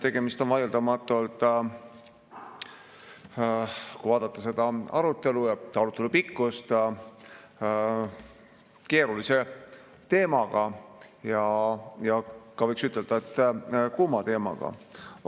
Tegemist on vaieldamatult, kui vaadata seda arutelu ja arutelu pikkust, keerulise teemaga ja võiks ka ütelda, et kuuma teemaga.